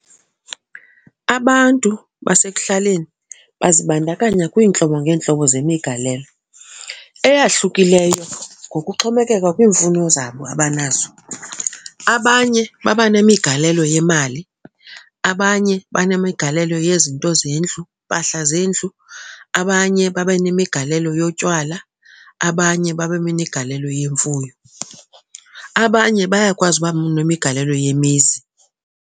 Abantu basekuhlaleni bazibandakanya kwiintlobo ngeentlobo zemigalelo eyahlukileyo ngokuxhomekeka kwiimfuno zabo abanazo. Abanye baba nemigalelo yemali, abanye banemigalelo yezinto zendlu, iimpahla zendlu, abanye babe nemigalelo yotywala, abanye babe zinegalelo yemfuyo. Abanye bayakwazi uba nemigalelo yimizi.